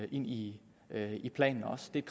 i i planen også det er